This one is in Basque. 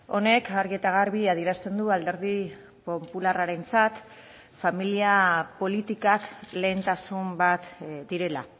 honek argi eta garbi adierazten du alderdi popularrarentzat familia politikak lehentasun bat direla